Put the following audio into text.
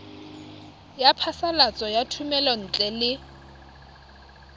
ya phasalatso ya thomelontle le